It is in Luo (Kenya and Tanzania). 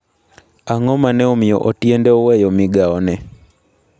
Ang'o ma ne omiyo Otiende oweyo migawone?